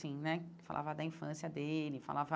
Assim né Falava da infância dele, falava...